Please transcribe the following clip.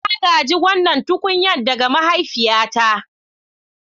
Na gaji wannan tukunya ɗaga mahaifiyata.